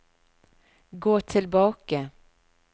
gå tilbake